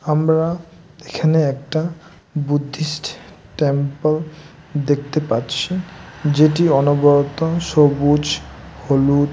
আমরা এখানে একটা বুদ্ধিস্ট টেম্পল দেখতে পাচ্ছি যেটি অনবরত সবুজ হলুদ--